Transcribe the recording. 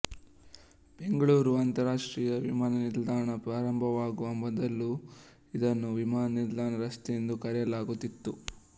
ಬೆಂಗಳೂರು ಅಂತರರಾಷ್ಟ್ರೀಯ ವಿಮಾನ ನಿಲ್ದಾಣ ಪ್ರಾರಂಭವಾಗುವ ಮೊದಲು ಇದನ್ನು ವಿಮಾನ ನಿಲ್ದಾಣ ರಸ್ತೆ ಎಂದು ಕರೆಯಲಾಗುತ್ತಿತ್ತು